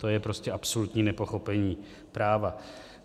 To je prostě absolutní nepochopení práva.